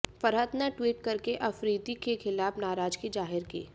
फरहत ने ट्वीट करके अफरीदी के खिलाफ नाराजगी जाहिर की